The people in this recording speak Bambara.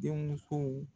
Den musow